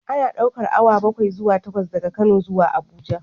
Ana ɗaukar awa bakwai zuwa takwas daga Kano zuwa Abuja